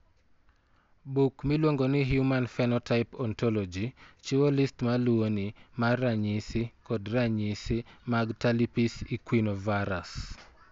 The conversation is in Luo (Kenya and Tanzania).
Buk miluongo ni Human Phenotype Ontology chiwo list ma luwoni mar ranyisi kod ranyisi mag Talipes equinovarus.